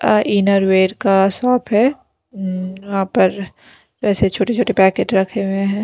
Inner wear का shop है वहां पर वैसे छोटे-छोटे पैकेट रखे हुए हैं।